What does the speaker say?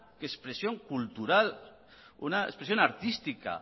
expresión cultural una expresión artística